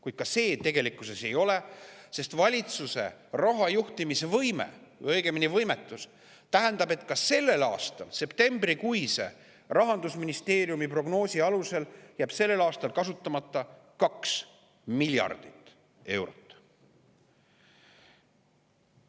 Kuid ka see tegelikkuses seda ei ole, sest valitsuse rahajuhtimise võime või õigemini võimetuse tõttu jääb ka sellel aastal – Rahandusministeeriumi septembrikuise prognoosi alusel – kasutamata 2 miljardit eurot.